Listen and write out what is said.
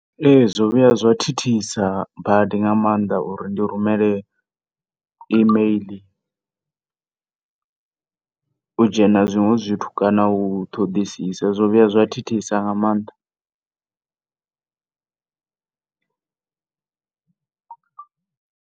Ee, zwo vhuya zwa thithisa badi nga maanḓa uri ndi rumele email, u dzhena zwiṅwe zwithu kana u ṱoḓisisa zwo vhuya zwa thithisa nga maanḓa.